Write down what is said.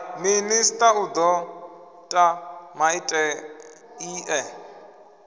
minista u do ta maiteie